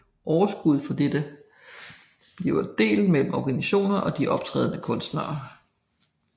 Overskuddet fra dette blive delt mellem organisationerne og de optrædende kunstnere